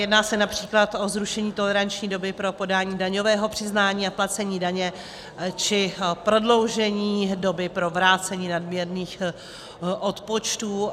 Jedná se například o zrušení toleranční doby pro podání daňového přiznání a placení daně či prodloužení doby pro vrácení nadměrných odpočtů.